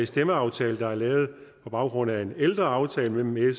stemmeaftale der er lavet på baggrund af en ældre aftale mellem